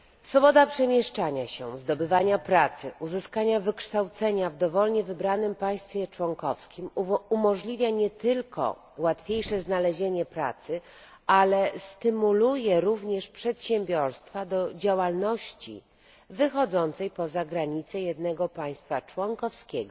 Swoboda przemieszczania się, zdobywania pracy, uzyskania wykształcenia w dowolnie wybranym państwie członkowskim umożliwia nie tylko łatwiejsze znalezienie pracy, ale stymuluje również przedsiębiorstwa do działalności wychodzącej poza granice jednego państwa członkowskiego,